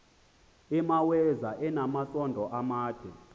imaweza inamasond amade